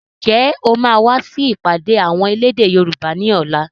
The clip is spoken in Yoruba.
Ǹjẹ́ o máa wà sì ìpàdé àwọn elédè Yorùbá ni ọ̀la?